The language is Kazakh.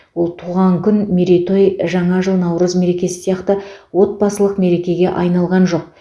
ол туған күн мерейтой жаңа жыл наурыз мерекесі сияқты отбасылық мерекеге айналған жоқ